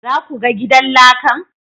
Za ku ga gidan lakan?